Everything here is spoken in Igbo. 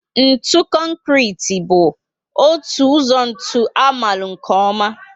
Ntụ Konkrete bú otu ụzọ ntụ amalu nkè oma